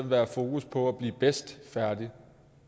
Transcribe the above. være fokus på at blive bedst færdig